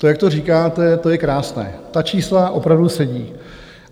To, jak to říkáte, to je krásné, ta čísla opravdu sedí.